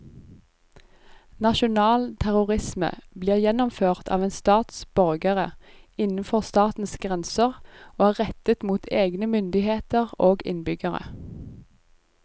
Nasjonal terrorisme blir gjennomført av en stats borgere innenfor statens grenser og er rettet mot egne myndigheter og innbyggere.